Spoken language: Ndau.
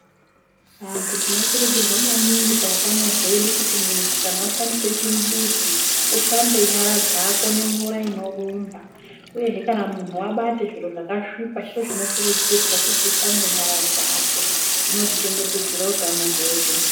Antu tino kurudzirwa maningi pautano hwedu kuti muntu kana washandise chimbuzi ushambe nyara dzako nemvura inorumba uyehe kana muntu wabate zviro zvakasvipa chiro chinokurudzirwa kuti ushambe nyara dzako zvinot ichengetedzera utano hwedu.